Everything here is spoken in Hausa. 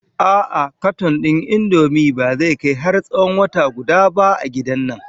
A'a katon ɗin Indomie ba zai kai har tsawon wata guda ba a gidan nan.